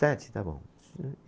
Sete, está bom.